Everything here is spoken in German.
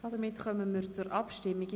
Wir kommen zur Abstimmung.